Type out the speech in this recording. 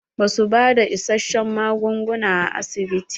Ba su bada issashen magunguna a asibiti.